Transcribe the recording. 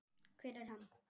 hver er hann?